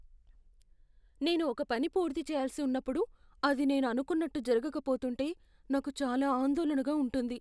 నేను ఒక పని పూర్తిచేయాల్సి ఉన్నప్పుడు, అది నేను అనుకున్నట్టు జరగకపోతుంటే నాకు చాలా ఆందోళనగా ఉంటుంది.